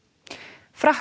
frakkar